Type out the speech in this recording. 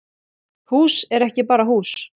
Hús er ekki bara hús